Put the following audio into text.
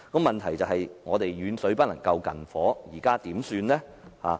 問題是遠水不能救近火，現在該怎麼辦？